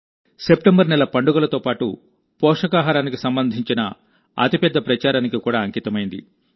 September నెల పండుగలతో పాటు పోషకాహారానికి సంబంధించిన అతి పెద్ద ప్రచారానికి కూడా అంకితమైంది